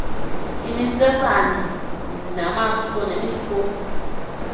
imisesane namaso nemisomi